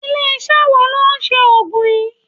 Ilé iṣẹ́ wo ló ń ṣe Ògùn yí?